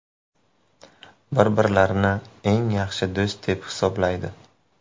Bir-birlarini eng yaxshi do‘st deb hisoblaydi.